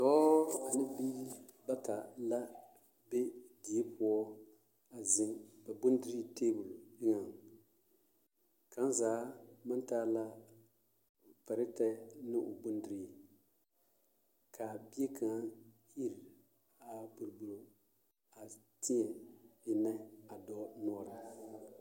Dɔɔ ane biiri bata la be die poɔ a zeŋ ba bondirii teebol eŋɛ kaŋ zaa maŋ taa la pɛrɛtɛ ne o bondirii k'a bie kaŋa iri a boroboro a tēɛ ennɛ a dɔɔ noɔre poɔ.